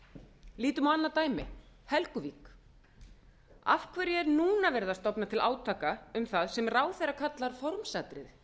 lítum á annað dæmi helguvík af hverju er núna verið að stofna til átaka um það sem ráðherra kallar formsatriði